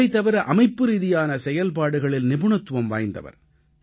இவை தவிர அமைப்புரீதியான செயல்பாடுகளில் நிபுணத்துவம் வாய்ந்தவர்